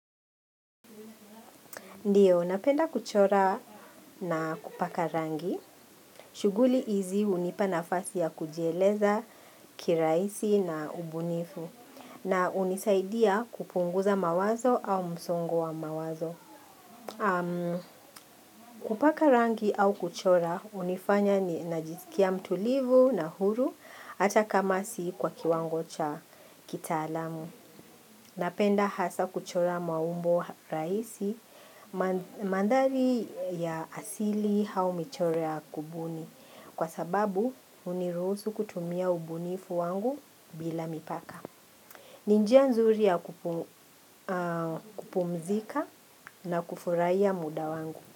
Ndiyo, napenda kuchora na kupaka rangi. Shughuli hizi hunipa nafasi ya kujieleza kirahisi na ubunifu. Na hunisaidia kupunguza mawazo au msongo wa mawazo. Kupaka rangi au kuchora hunifanya najisikia mtulivu na huru hata kama si kwa kiwango cha kitaalamu. Napenda hasa kuchora maumbo rahisi mandari ya asili au michoro ya kubuni kwa sababu hunirusu kutumia ubunifu wangu bila mipaka. Ni njia nzuri ya kupumzika na kufuraia muda wangu.